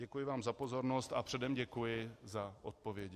Děkuji vám za pozornost a předem děkuji za odpovědi.